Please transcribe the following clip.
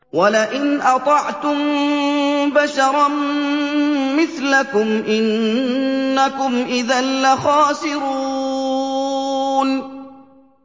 وَلَئِنْ أَطَعْتُم بَشَرًا مِّثْلَكُمْ إِنَّكُمْ إِذًا لَّخَاسِرُونَ